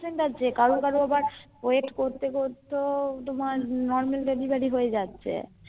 কারো কারো আবার Wait করতে করতে তোমার Normal Delivery হয়ে যাচ্ছে